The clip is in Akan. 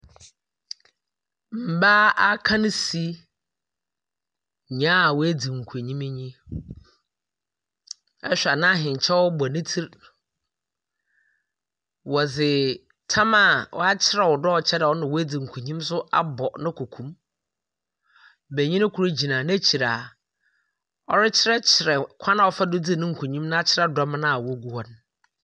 Mmaa akansi, nyia woedzi nkonyim nye yi. Ehwɛ a n’ahenkyɛw ne tsir, wɔdze tam a ɔkyerɛ dɛ ɔno na oedzi nkonyim no so abɔ ne koko mu. Banyin kor gyina n’ekyir a ɔrekyerɛkyerɛ kwan a ɔfaa do dzi no nkonyim no akyerɛ dɔm no a wogu hɔ no.